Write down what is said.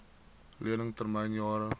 lening termyn jare